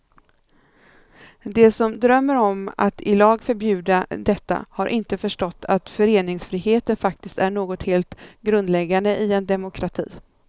De som drömmer om att i lag förbjuda detta har inte förstått att föreningsfriheten faktiskt är något helt grundläggande i en demokrati.